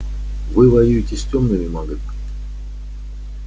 вы воюете с тёмными магами